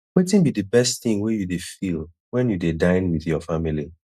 wetin be di best thing wey you dey feel when you dey dine with your family